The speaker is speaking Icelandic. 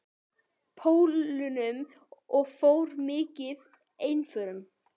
Pólunum og fór mikið einförum.